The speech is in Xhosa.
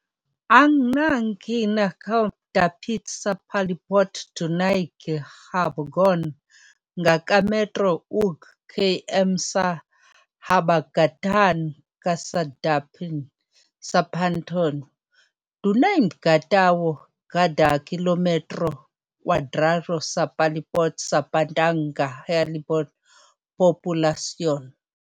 Ang kinahabogang dapit sa palibot dunay gihabogon nga ka metro ug km sa habagatan-kasadpan sa Pantano. Dunay mga ka tawo kada kilometro kwadrado sa palibot sa Pantano nga hilabihan populasyon.